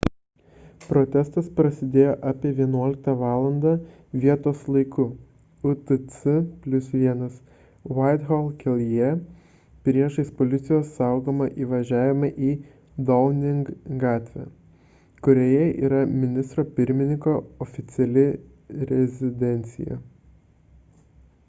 protestas prasidėjo apie 11 val. vietos laiku utc+1 whitehall kelyje priešais policijos saugomą įvažiavimą į downing gatvę kurioje yra ministro pirmininko oficiali rezidencija